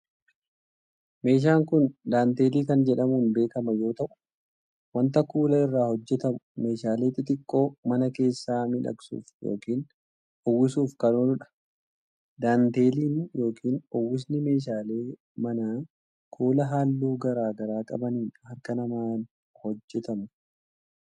Meeshaan kun, daantelii kan jedhamuun beekama yoo ta'u, wanta kuula irraa hojjatamu meeshaalee xixiqqoo mana keessaa miidhagsuuf yokin uwwisuuf kan oolu dha. Daantileen yokin uwwisni meeshaalee manaa ,kuula haalluu garaa garaa qabaniin harka namaan hojjatamu.